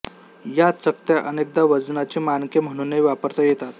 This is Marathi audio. या चकत्या अनेकदा वजनाची मानके म्हणूनही वापरता येतात